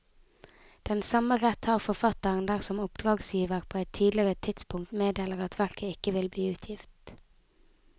Den samme rett har forfatteren dersom oppdragsgiver på et tidligere tidspunkt meddeler at verket ikke vil bli utgitt.